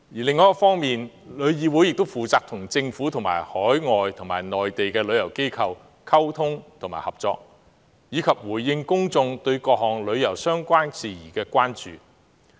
另一方面，旅議會亦負責與政府及海外和內地旅遊機構溝通和合作，以及回應公眾對各項旅遊相關事宜的關注。